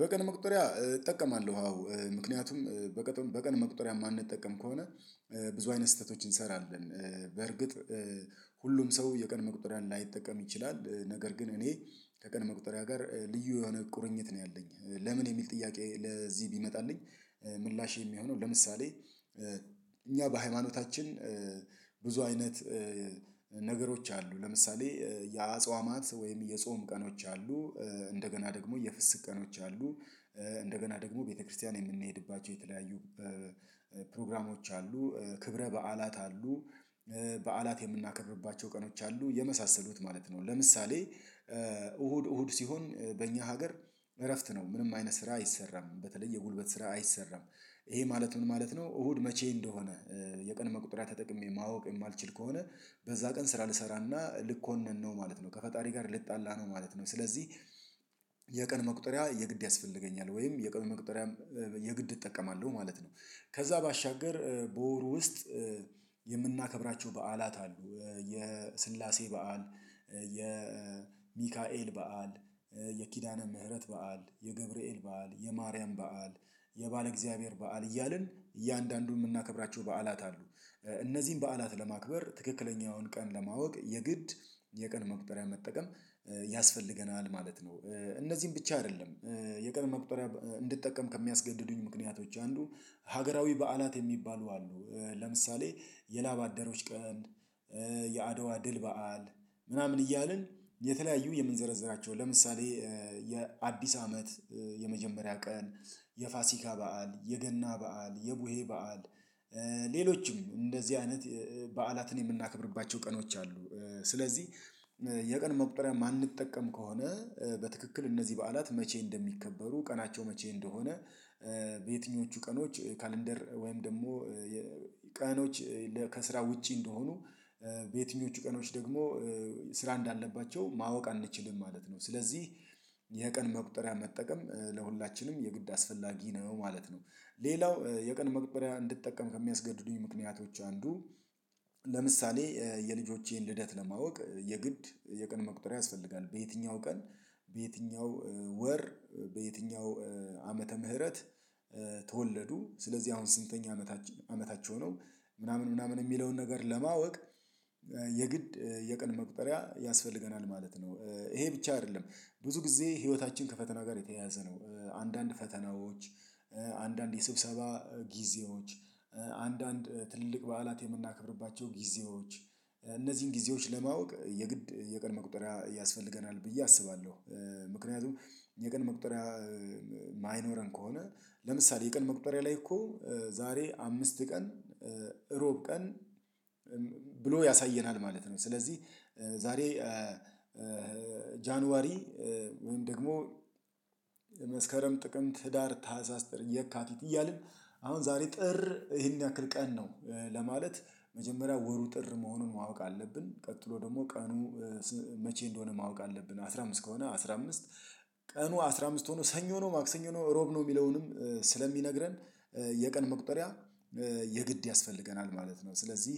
በቀን መቁጠሪያ እጠቀማለሁ አዎ። ምክንያቱም በቀን መቁጠሪያ የማንጠቀም ከሆነ ብዙ አይነት ስህተቶችን እንሰራለን። በርግጥ ሁሉም ሰው የቀን መቁጠሪያን ላይጠቀም ይችላል። ነገር ግን እኔ ከቀን መቁጠሪያ ጋር ልዩ የሆነ ቁርኝት ነው ያለኝ። ለምን የሚል ጥያቄ ለዚህ ቢመጣልኝ ምላሼ የሚሆነው፤ ለምሳሌ እኛ በሃይማኖታችን ብዙ አይነት ነገሮች አሉ። ለምሳሌ የአጽዋማት ወይም የጾም ቀኖች አሉ። እንደገና ደግሞ የፍስክ ቀኖች አሉ። እንደገና ደግሞ ቤተክርስቲያን የምንሄድባቸው የተለያዩ ፕሮግራሞች አሉ። ክብረ በዓላት አሉ። በዓላት የምናከብርባቸው ቀኖች አሉ የመሳሰሉት ማለት ነው። ለምሳሌ እሁድ እሁድ ሲሆን በእኛ ሀገር እረፍት ነው ምንም አይነት ስራ አይሰራም። በተለይ የጉልበት ስራ አይሰራም። ይሄ ማለት ምን ማለት ነው እሁድ መቼ እንደሆነ የቀን መቁጠሪያ ተጠቅሜ ማወቅ የማልችል ከሆነ በዛ ቀን ስራ ልሰራና ልኮነን ነው ማለት ነው። ከፈጣሪ ጋር ልጣላ ነው ማለት ነው። ስለዚህ የቀን መቁጠሪያ የግድ ያስፈልገኛል። ወይም የቀን መቁጠሪያም የግድ እጠቀማለሁ ማለት ነው። ከዛ ባሻገር በወሩ ውስጥ የምናከብራቸው በዓላት አሉ። የስላሴ በዓል፣ የሚካኤል በዓል፣ የኪዳነ ምህረት በዓል፣ የገብርኤል በዓል፣ የማርያም በዓል፣ የባለ እግዚአብሔር በዓል፣ እያልን እያንዳንዱን የምናከብራቸው በዓላት አሉ። እነዚህን በዓላት ለማክበር ትክክለኛውን ቀን ለማወቅ የግድ የቀን መቁጠሪያ መጠቀም ያስፈልገናል ማለት ነው። እነዚህን ብቻ አይደለም የቀን መቁጠሪያ እንድጠቀም ከሚያስገድዱኝ ምክንያቶች አንዱ ሀገራዊ በዓላት የሚባሉ አሉ። ለምሳሌ የላባደሮች ቀን የአድዋ ድል በዓል ምናምን እያልን የተለያዩ የምንዘረዝራቸው፤ ለምሳሌ የአዲስ አመት የመጀመሪያ ቀን፣ የፋሲካ በዓል፣ የገና በዓል፣ የቡሄ በዓል፣ ሌሎችም እንደዚህ አይነት በዓላትን የምናከብርባቸው ቀኖች አሉ። ስለዚህ የቀን መቁጠሪያ የማንጠቀም ከሆነ በትክክል እነዚህ በዓላት መቼ እንደሚከበሩ ቀናቸው መቼ እንደሆነ በየትኞቹ ቀኖች ካለንደር ወይም ደግሞ ቀኖች ከስራ ውጪ እንደሆኑ በየትኞቹ ቀኖች ደግሞ ስራ እንዳለባቸው ማወቅ አንችልም ማለት ነው። ስለዚህ የቀን መቁጠሪያ መጠቀም ለሁላችንም የግድ አስፈላጊ ነው ማለት ነው። ሌላው የቀን መቁጠሪያ እንድጠቀም ከሚያስገድዱኝ ምክንያቶች አንዱ ለምሳሌ የልጆቼን ልደት ለማወቅ የግድ የቀን መቁጠሪያ ያስፈልጋል፤ በየትኛው ቀን በየትኛው ወር በየትኛው ዓመተ ምህረት ተወለዱ ስለዚህ አሁን ስንተኛ አመታች አመታቸው ነው ምናምን ምናምን የሚለውን ነገር ለማወቅ የግድ የቀን መቁጠሪያ ያስፈልገናል ማለት ነው። ይሄ ብቻ አይደለም ብዙ ጊዜ ህይወታችን ከፈተና ጋር የተያያዘ ነው። አንዳንድ ፈተናዎች፣ አንዳንድ የስብሰባ ጊዜዎች፣ አንዳንድ ትልቅ በዓላት የምናከብርባቸው ጊዜዎች፣ እነዚህን ጊዜዎች ለማወቅ የግድ የቀን መቁጠሪያ ያስፈልገናል ብዬ አስባለሁ። ምክንያቱም የቀን መቁጠሪያ የማይኖረን ከሆነ ለምሳሌ የቀን መቁጠሪያ ላይ እኮ ዛሬ አምስት ቀን እሮብ ቀን ብሎ ያሳየናል ማለት ነው። ስለዚህ ዛሬ ጃንዋሪ ወይም ደግሞ መስከረም ጥቅምት ህዳር ታህሳስ ጥር የካቲት እያልን አሁን ዛሬ ጥር ይሄን ያክል ቀን ነው ለማለት መጀመሪያ ወሩ ጥር መሆኑን ማወቅ አለብን፤ ቀጥሎ ደግሞ ቀኑ መቼ እንደሆነ ማወቅ አለብን አስራ አምስት ከሆነ አስራ አምስት ቀኑ አስራ አምስት ሆኖ ሰኞ ነው ማክሰኞ ነው እሮብ ነው የሚለውንም ስለሚነግረን የቀን መቁጠሪያ የግድ ያስፈልገናል ማለት ነው። ስለዚህ